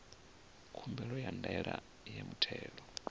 khumbelo ya ndaela ya muthelo